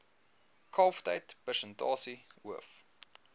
kalftyd persentasie hoof